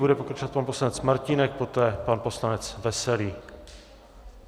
Bude pokračovat pan poslanec Martínek, poté pan poslanec Veselý.